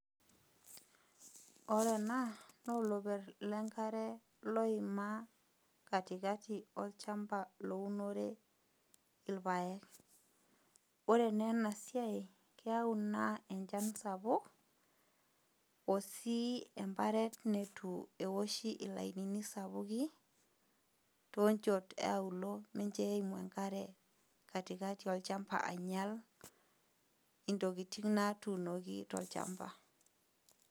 Ore ena na oloper lenkare oima katikati olchamba lounore irpaek ore na enasiai na keyau na enchan esapuk osii embaret nitu eoshiblainini sapukin tonchot ealuo mincho eiamu enkare katikati olchamba ainyal intokitin natuunoki tolchamba.